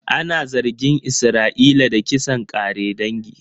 Ana zargin Isra'ila da kisan ƙare dangi